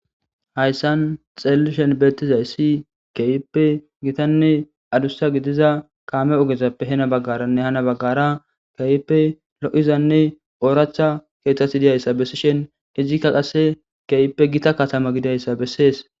Hayssan xeellishen beettizay ssi keyippe gitanne adussa gidiza kaame ogezappe hena baggaranne hana baggara keyppe lo7izanne ooracha keeththati diyayssa bessishen ijikka qasse keeyppe gita katama gidayssa bessees